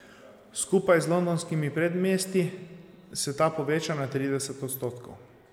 Skupaj z londonskimi predmestji se ta poveča na trideset odstotkov.